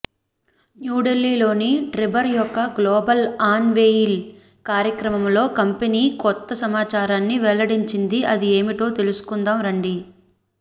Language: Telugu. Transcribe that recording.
న్యూఢిల్లీలోని ట్రిబర్ యొక్క గ్లోబల్ అన్ వేయిల్ కార్యక్రమంలో కంపెనీ కొత్త సమాచారాన్ని వెల్లడించింది అది ఏమిటో తెలుసుకొందాం రండి